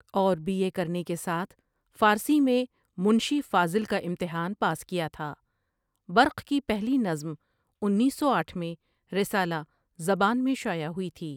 اور B A کرنے کے ساتھ فارسی میں منشی فاضل کا امتحان پاس کیا تھا برق کی پہلی نظم انیس سو آٹھ میں رسالہ زبان میں شائع ہوئی تھی ۔